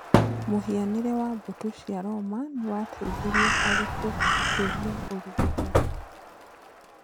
mŨhianĩre wa mbũtũ cia Roma nĩ wateithirie harĩ gũkũria ũrigitani.